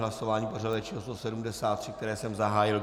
Hlasování pořadové číslo 173, které jsem zahájil.